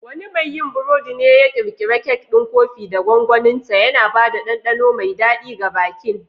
Wani mai yin burodi ne ya ƙirƙira kek ɗin kofi da gwaninta, yana ba da ɗanɗano mai daɗi ga bikin.